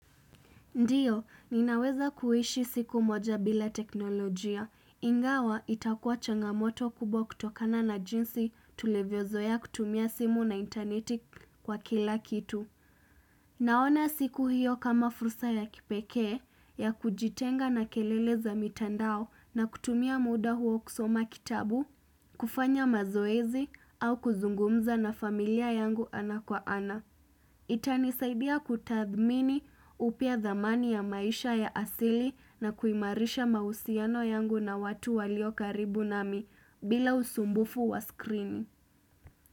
Ndio, ninaweza kuishi siku moja bila teknolojia. Ingawa itakuaw changamoto kubwa kutokana na jinsi tulivyozoea kutumia simu na interneti kwa kila kitu. Naona siku hiyo kama fursa ya kipekee ya kujitenga na kelele za mitandao na kutumia muda huo kusoma kitabu, kufanya mazoezi au kuzungumza na familia yangu ana kwa ana. Itanisaidia kutadhmini upya dhamani ya maisha ya asili na kuimarisha mahusiano yangu na watu walio karibu nami bila usumbufu wa skrini.